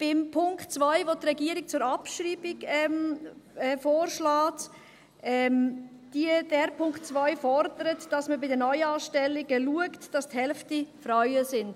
Beim Punkt 2, den die Regierung zur Abschreibung vorschlägt: Dieser Punkt 2 fordert, dass man bei den Neuanstellungen schaut, dass die Hälfte Frauen sind.